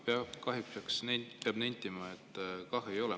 Peab kahjuks nentima, et ei ole.